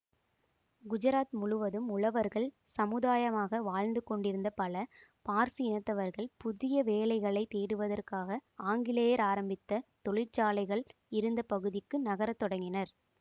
குஜராத் முழுவதும் உழவர்கள் சமுதாயமாக வாழ்ந்து கொண்டிருந்த பல பார்சி இனத்தவர்கள் புதிய வேலைகளை தேடுவதற்காக ஆங்கிலேயர் ஆரம்பித்த தொழிற்சாலைகள் இருந்த பகுதிக்கு நகர தொடங்கினர்